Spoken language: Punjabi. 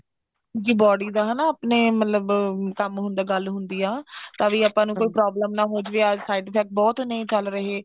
ਜੀ body ਦਾ ਹਨਾ ਆਪਣੇ ਮਤਲਬ ਕੰਮ ਹੁੰਦਾ ਗੱਲ ਹੁੰਦੀ ਹੈ ਤਾਂ ਵੀ ਆਪਾਂ ਨੂੰ ਕੋਈ problem ਨਾ ਹੋ ਜਾਵੇ ਆ side effect ਬਹੁਤ ਨੇ ਚਲ ਰਹੇ